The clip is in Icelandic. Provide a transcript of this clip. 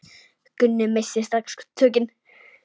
Gunni missti strax tökin.